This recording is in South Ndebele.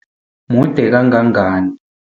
Mude kangangani?